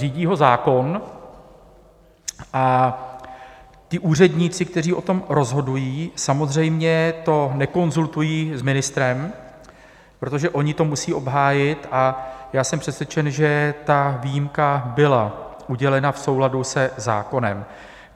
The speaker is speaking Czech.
Řídí ho zákon a ti úředníci, kteří o tom rozhodují, samozřejmě to nekonzultují s ministrem, protože oni to musí obhájit, a já jsem přesvědčen, že ta výjimka byla udělena v souladu se zákonem.